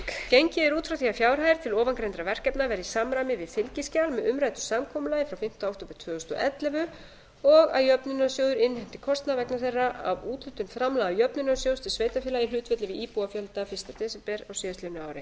gengið er út frá því að fjárhæðir til ofangreindra verkefna verði í samræmi við fylgiskjal með umræddu samkomulagi frá fimmta október tvö þúsund og ellefu og að jöfnunarsjóður innheimti kostnað vegna þeirra af úthlutun framlaga jöfnunarsjóðs til sveitarfélaga í hlutfalli við íbúafjölda fyrsta desember á síðastliðnu ári